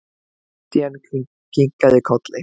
Christian kinkaði kolli.